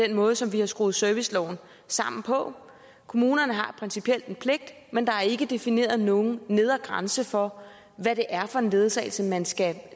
den måde som vi har skruet serviceloven sammen på kommunerne har principielt en pligt men der er ikke defineret nogen nedre grænse for hvad det er for en ledsagelse man skal